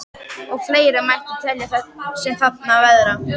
Og fleira mætti telja sem þarna á að verða.